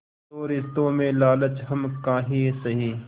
तो रिश्तों में लालच हम काहे सहे